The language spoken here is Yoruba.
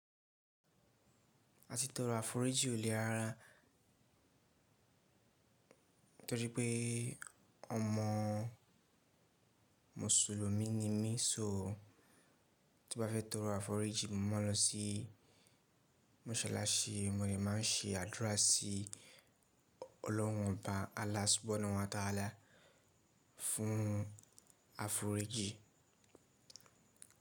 A ti tọrọ àforíjì ko lè rara torí pé ọmọ mùsùlùmí ni mí. So tí mo bá fẹ́ tọrọ àforíjì, mo ma lọ sí mọ́ṣáláṣí, mo de ma ń ṣe àdúrà sí ọlọ́run ọba Allah subhanahu wa ta'ala fún àforíjì.